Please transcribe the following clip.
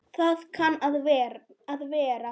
Það kann að vera.